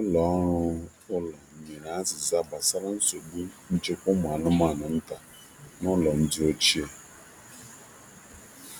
Nde ụlọ ọrụ maka ụlọ zaghachiri nchegbu gbasara ọgwụgwọ na njikwa ụmụ anu ọhịa n'ụmụ ahụhụ n'ụlọ nde ochie.